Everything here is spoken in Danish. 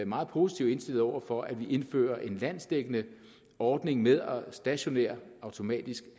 meget positivt indstillet over for at vi indfører en landsdækkende ordning med stationær automatisk